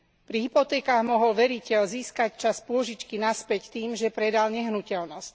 Pri hypotékach mohol veriteľ získať časť pôžičky naspäť tým, že predal nehnuteľnosť.